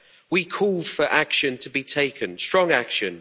we called for action to be taken strong action.